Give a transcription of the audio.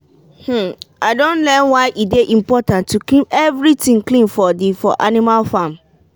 i don learn why e dey important to keep every tin clean for di for animal farm.